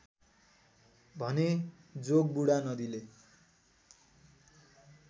भने जोगबुढा नदीले